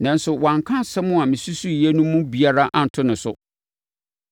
Nanso, wɔanka nsɛm a mesusuiɛ no mu biara anto ne so.